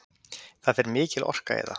Það fer mikil orka í það